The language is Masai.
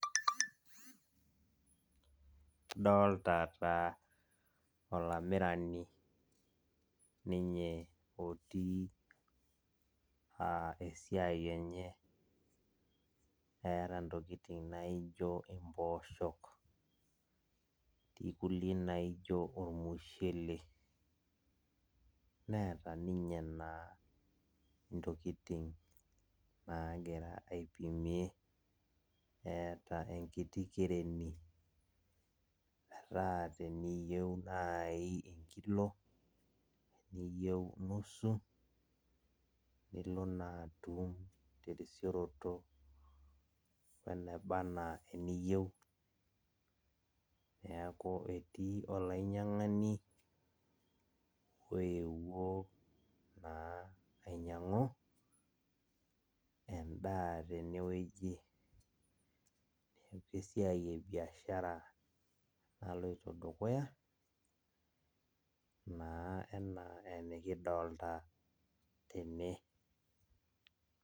Adolta taa olamirani ninye otii esiai enye. Eeta intokiting naijo impooshok, etii kulie naijo ormushele. Neeta ninye naa intokiting nagira aipimie. Eeta enkiti kereni metaa teniyieu nai enkilo, teniyieu nusu, nilo naa atum terisioroto weneba enaa eniyieu. Neeku etii olainyang'ani oewuo naa ainyang'u, endaa tenewueji. Esiai ebiashara naloito dukuya, naa enaa enikidolta tene.